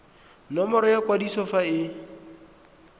nomoro ya kwadiso fa e